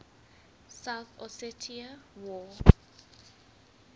south ossetia war